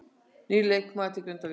Nýr leikmaður til Grindvíkinga